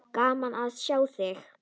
Gaman að sjá þig.